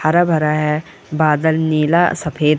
हरा-भरा है बादल नीला अ सफेद --